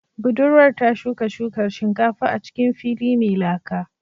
Budurwar ta shuka shukar shinkafa a cikin fili mai laka